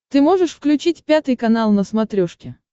ты можешь включить пятый канал на смотрешке